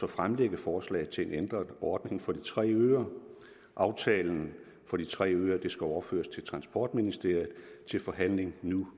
fremsætte forslag til en ændret ordning for de tre øer aftalen for de tre øer overføres til transportministeriet til forhandling nu